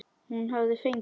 Hún hafði fengið